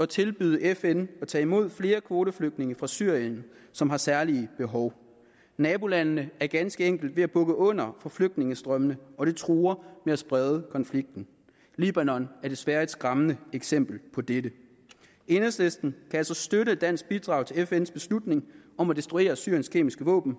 tilbyde fn at tage imod flere kvoteflygtninge fra syrien som har særlige behov nabolandene er ganske enkelt ved at bukke under for flygtningestrømmene og det truer med at sprede konflikten libanon er desværre et skræmmende eksempel på dette enhedslisten kan altså støtte et dansk bidrag til fns beslutning om at destruere syriens kemiske våben